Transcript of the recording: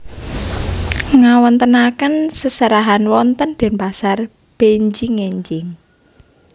Ngawontenaken seserahan wonten Denpasar benjing enjing